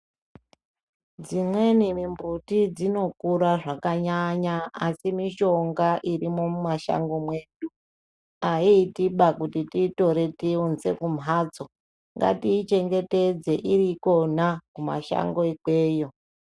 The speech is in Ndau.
Dzimweni mimbuti dzinokura zvakanyanya, asi mishonga irimwo mumashango mwedu, ayiitiba kuti tiitore tiyiunze kumhatso. Ngatiichengetedze iri ikona kumashango ikweyo.